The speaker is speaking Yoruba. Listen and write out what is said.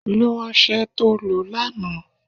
Lo ọsẹ to lo lánàá